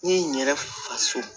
N ye n yɛrɛ faso